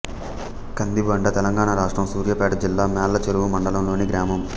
కందిబండ తెలంగాణ రాష్ట్రం సూర్యాపేట జిల్లా మేళ్ళచెరువు మండలంలోని గ్రామం